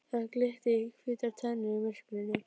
Það glitti í hvítar tennurnar í myrkrinu.